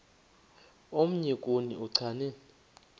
omnye kuni uchane